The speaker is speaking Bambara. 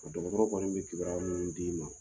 Dɔgɔtɔrɔw kɔni bɛ kibaruya minnu d'i ma.